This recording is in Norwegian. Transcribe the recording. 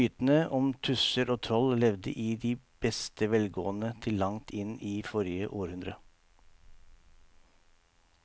Mytene om tusser og troll levde i beste velgående til langt inn i forrige århundre.